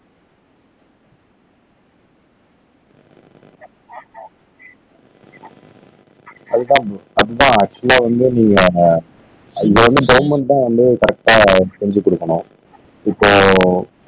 அது தான் அதுதான் ஆக்சுவலா வந்து நாம இப்ப வந்து கவர்ன்மெண்ட் தான் வந்து கரெக்டா செஞ்சி குடுக்கணும் இப்போ